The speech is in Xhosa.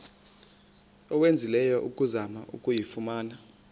owenzileyo ukuzama ukuyifumana